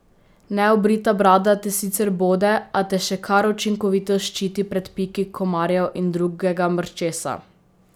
Neobrita brada te sicer bode, a te še kar učinkovito ščiti pred piki komarjev in drugega mrčesa.